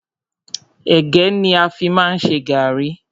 Ẹ̀gẹ́ ni a fi má ń ṣe gàrrí.